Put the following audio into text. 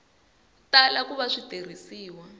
tala ku va swi tirhisiwa